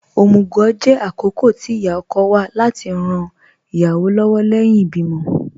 Omugwò jẹ̀ àkókọ̀ tì íyá-ọ̀kọ̀ wà láti ran ìyáwọ́ lọ́wọ̀ lẹ́hìn ìbìmọ̀.